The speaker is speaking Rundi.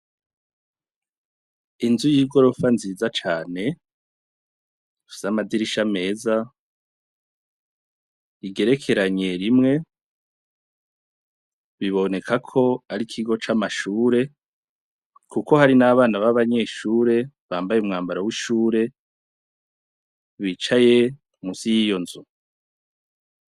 Inzu y'igorofa nziza cane, ifise amadirisha meza, igerekeranye rimwe. Biboneka ko hari ikigo c'amashure, kuko hari n'abana b'abanyeshure bambaye umwambaro w'ishure, bicaye munsi y'iyo nzu.